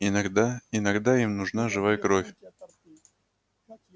иногда иногда им нужна живая кровь